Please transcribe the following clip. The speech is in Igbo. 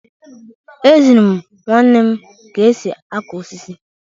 Echere m nwanne m ka esi akụ osisi